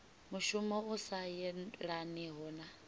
mushumo u sa yelaniho na